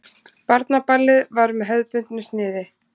Barnaballið var með hefðbundnu sniði.